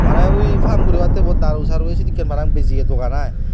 mane ui farm guribatte bo daru saru esedekke mane bijiye dogan i.